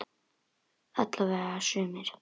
Alla vega sumir.